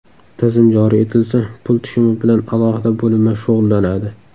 Tizim joriy etilsa, pul tushumi bilan alohida bo‘linma shug‘ullanadi.